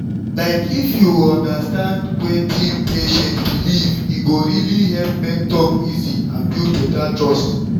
like if you understand wetin patient believe e go really help make talk easy and build better trust.